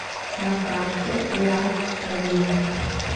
на карте лав эджент